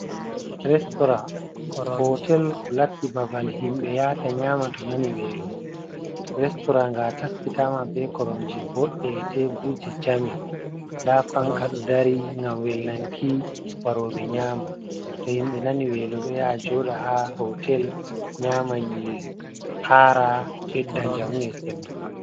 Restorant, hotel ko latti babal himɓe yata nyama to nani welo, restorant nga taskitama be koromje boɗɗe e teburje jami, nda fanka ɗo dari ngam welnanki waroɓe nyama, to himɓe nani welo do ya joɗa haa hotel nyama nyiri haara bedda njamu e sembe.